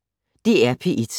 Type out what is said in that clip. DR P1